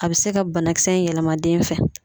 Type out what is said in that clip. A be se ka banakisɛ in yɛlɛma den fɛ